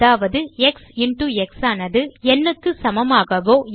அதாவது x into x ஆனது n க்கு சமமாகவோ